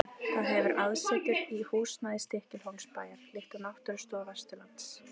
Það hefur aðsetur í húsnæði Stykkishólmsbæjar, líkt og Náttúrustofa Vesturlands.